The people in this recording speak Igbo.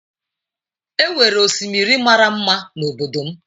E nwere osimiri mara mma n’obodo m.